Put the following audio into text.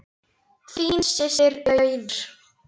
Þín systir Auður.